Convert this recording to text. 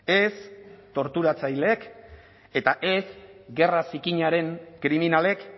ez torturatzaileek eta ez gerra zikinaren kriminalek